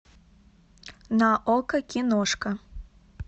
на окко киношка